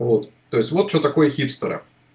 вот то есть вот что такое хипстеры